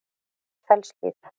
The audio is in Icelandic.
Fellshlíð